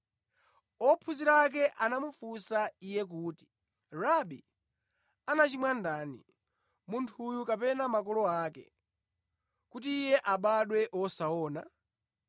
Ophunzira ake anamufunsa Iye kuti, “Rabi anachimwa ndani, munthuyu kapena makolo ake, kuti iye abadwe wosaona?”